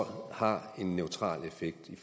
har en neutral effekt i